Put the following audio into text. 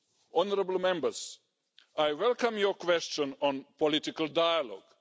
Honourable Members, I welcome your question on political dialogue.